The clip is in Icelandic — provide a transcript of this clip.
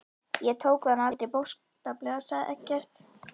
Ég tók það nú aldrei bókstaflega, sagði Eggert.